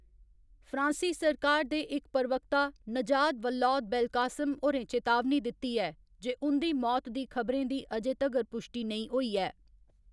फ्रांसी सरकार दे इक प्रवक्ता नजात वल्लौद बेलकासेम होरें चेतावनी दित्ती ऐ जे उं'दी मौत दी खबरें दी अजें तगर पुश्टी नेईं होई ऐ।